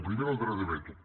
primer el dret de veto